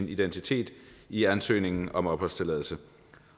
identitet i ansøgningen om opholdstilladelse